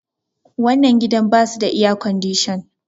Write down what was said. wannan gidan ba su da iyacodishan